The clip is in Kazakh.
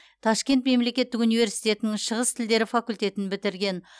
ташкент мемлекеттік университетінің шығыс тілдері факультетін бітірген